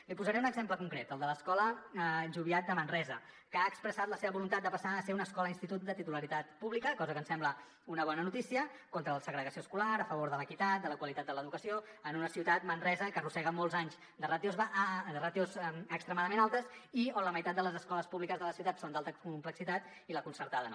li posaré un exemple concret el de l’escola joviat de manresa que ha expressat la seva voluntat de passar a ser una escola institut de titularitat pública cosa que ens sembla una bona notícia contra la segregació escolar a favor de l’equitat de la qualitat de l’educació en una ciutat manresa que arrossega molts anys de ràtios extremadament altes i on la meitat de les escoles públiques de la ciutat són d’alta complexitat i la concertada no